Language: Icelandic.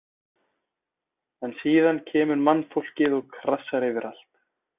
En síðan kemur mannfólkið og krassar yfir allt.